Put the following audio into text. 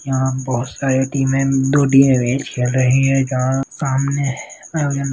यहां बहुत सारे टीम